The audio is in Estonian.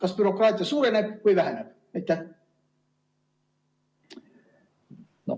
Kas bürokraatia suureneb või väheneb?